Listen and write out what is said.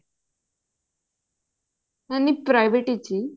ਹਾਂਜੀ private ਵਿੱਚ ਹੀ